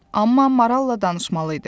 Amma maralla danışmalıydı.